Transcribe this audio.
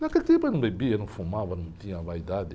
Naquele tempo eu não bebia, não fumava, não tinha vaidade.